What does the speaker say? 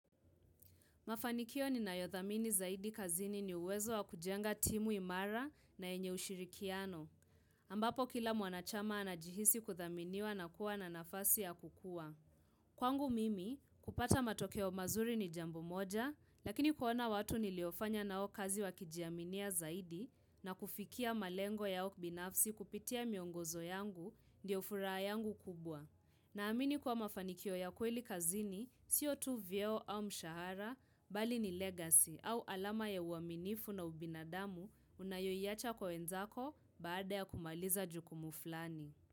Mafanikio ninayodhamini zaidi kazini ni uwezo wa kujenga timu imara na enye ushirikiano, ambapo kila mwanachama anajihisi kudhaminiwa na kuwa na nafasi ya kukua. Kwangu mimi, kupata matokeo mazuri ni jambo moja, lakini kuona watu niliofanya nao kazi wakijiaminia zaidi na kufikia malengo yao binafsi kupitia miongozo yangu, ndio furaha yangu kubwa. Naamini kuwa mafanikio ya kweli kazini, siyo tu vyeo au mshahara, bali ni legacy au alama ya uaminifu na ubinadamu unayoiacha kwenzako baada ya kumaliza juku muflani.